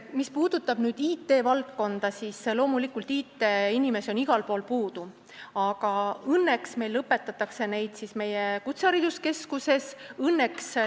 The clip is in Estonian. Mis puudutab IT-valdkonda, siis loomulikult on IT-inimesi igal pool puudu, aga õnneks õpetatakse neid meie kutsehariduskeskuses.